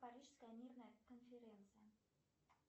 парижская мирная конференция